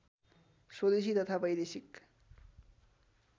स्वदेशी तथा वैदेशिक